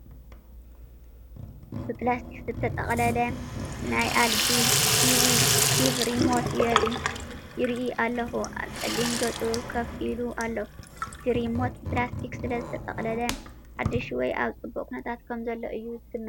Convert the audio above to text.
ብፕላስቲክ ዝተጠቕለለ ናይ ኤልጂ ቲቪ ሪሞት ይርኢ ኣለኹ። ኣብ ጸሊም ገጽ ኮፍ ኢሉ ኣሎ። እቲ ሪሞት ብፕላስቲክ ስለዝተጠቕለለ ሓድሽ ወይ ኣብ ጽቡቕ ኩነታት ከምዘሎ እየ ዝግምት።